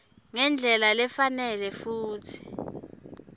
ngendlela lefanele futsi